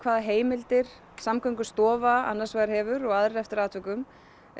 hvaða heimildir Samgöngustofa annars vegar hefur og aðrir eftir atvikum